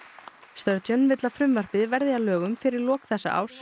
sturgeon vill að frumvarpið verði að lögum fyrir lok þessa árs